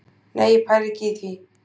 Nei ég pæli ekki í því.